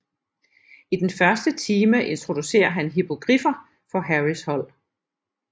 I den første time introducerer han hippogriffer for Harrys hold